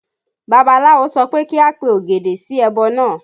Babaláwo sọ pé kí a pe ògèdè sí ẹbọ náà